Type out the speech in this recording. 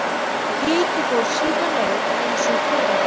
Hitt fór sína leið eins og fyrri daginn.